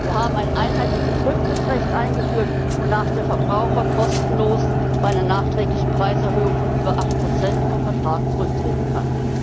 Wir haben ein einheitliches Rücktrittsrecht eingeführt, wonach der Verbraucher kostenlos bei einer nachträglichen Preiserhöhung von über acht Prozent vom Vertrag zurücktreten kann.